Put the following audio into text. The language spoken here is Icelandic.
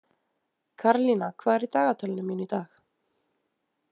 Karlína, hvað er í dagatalinu mínu í dag?